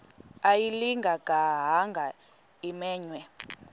ayilinga gaahanga imenywe